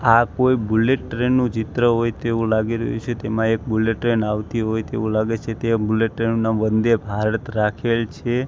આ કોઈ bullet train નું ચિત્ર હોય તેવું લાગી રહ્યું છે તેમાં એક બુલેટ ટ્રેન આવતી હોય તેવું લાગે છે તે બુલેટ ટ્રેન નું નામ વંદે ભારત રાખેલ છે.